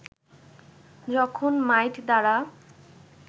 যখন মাইট দ্বারা